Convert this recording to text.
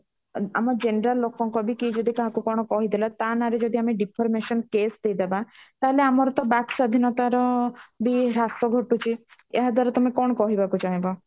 ଆମ general ଲୋକଙ୍କ ବି କିଏ ଯଦି କାହାକୁ କଣ କହିଦେଲା ତା ନାଁ ରେ ଯଦି ଆମେ deformation case ଦେଇଦବା ତାହାଲେ ଆମର ତ ବାକ୍ ସ୍ଵାଧୀନତାର ବି ତ ହ୍ରାସ ଘଟୁଛି ଏହାଦ୍ଵାରା ତମେ କଣ କହିବାକୁ ଚାହିଁବ